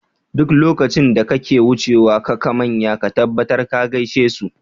Duk lokacin da kake wucewa kaka manya ka tabbatar ka gaishe su.